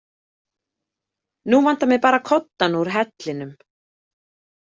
Nú vantar mig bara koddann úr hellinum